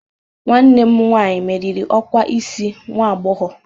Nwanne m nwanyị meriri ọkwa isi nwa agbọghọ